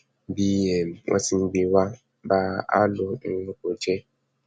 bí um wọn ti ń gbé e wàá bá a ló um ń kó o jẹ